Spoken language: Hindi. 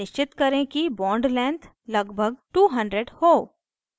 निश्चित करें कि bond length लगभग 200 हो